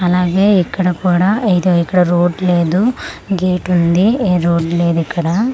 అలాగే ఇక్కడ కుడా ఎదో ఇక్కడ రోడ్ లేదు గేట్ ఉంది ఎ రోడ్ లేదిక్కడ.